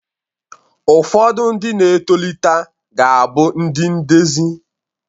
Ụfodu ndi na etolita ga-abu ndi ndezi